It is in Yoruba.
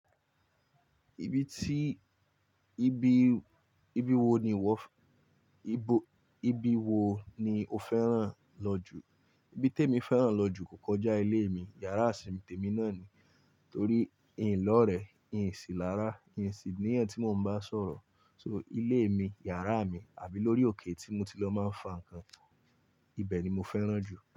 Ibi tí, ibi, ibi wo ni ìwọ fẹ́, ibo, ibi wo ni o fẹ́ràn lọ jù? Ibi t'èmi fẹ́ràn lọ jù kò kọjá ilé mi, yàrá simi tèmi náà ni. Torí ín lọ́rẹ̀ẹ́, ín sì lára, ín sì ní èyan tí mo ń bá sọ̀rọ̀. So ilé mi, yàrá mi àbí lórí òkè tí mo ti lọ máa ń fa nǹkan, ibẹ̀ ni mo fẹ́ràn jù.